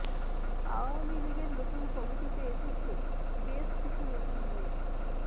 আওয়ামী লীগের নতুন কমিটিতে এসেছে বেশ কিছু নতুন মুখ